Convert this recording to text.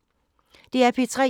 DR P3